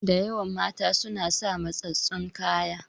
Da yawan mata suna sa matsatstsun kaya.